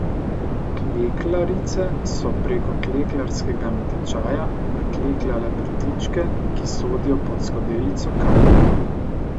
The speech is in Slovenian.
Klekljarice so preko klekljarskega natečaja naklekljale prtičke, ki sodijo pod skodelico kave.